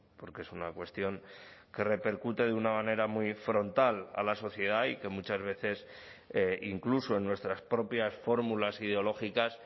porque es una cuestión que repercute de una manera muy frontal a la sociedad y que muchas veces incluso en nuestras propias fórmulas ideológicas